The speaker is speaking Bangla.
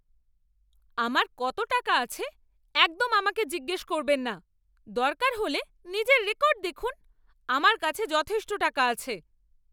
আমার কত টাকা আছে একদম আমাকে জিজ্ঞেস করবেন না। দরকার হলে নিজের রেকর্ড দেখুন। আমার কাছে যথেষ্ট টাকা আছে।